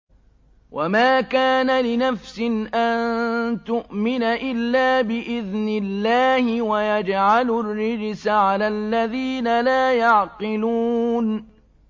وَمَا كَانَ لِنَفْسٍ أَن تُؤْمِنَ إِلَّا بِإِذْنِ اللَّهِ ۚ وَيَجْعَلُ الرِّجْسَ عَلَى الَّذِينَ لَا يَعْقِلُونَ